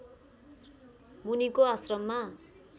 मुनिको आश्रममा